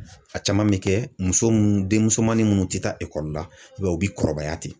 A caman bɛ kɛ ,muso munnu denmusomanin minnu tɛ taa ekɔli la, i b'a ye u bɛ kɔrɔbaya ten.